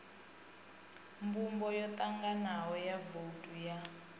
mbumbo yotanganaho ya vouthu ya